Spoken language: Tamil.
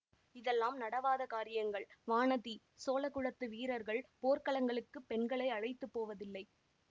இதெல்லாம் நடவாத காரியங்கள் வானதி சோழ குலத்து வீரர்கள் போர்க்களங்களுக்குப் பெண்களை அழைத்து போவதில்லை